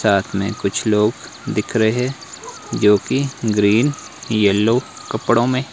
साथ में कुछ लोग दिख रहे हैं जो कि ग्रीन येलो कपड़ों में--